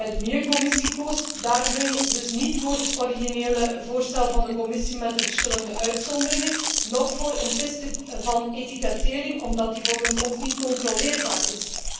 De Milieucommissie koos daarmee dus niet voor het originele voorstel van de Commissie met de verschillende uitzonderingen, noch voor een stelsel van etikettering, dat volgens ons niet controleerbaar is.